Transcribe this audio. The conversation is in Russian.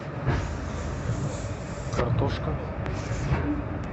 картошка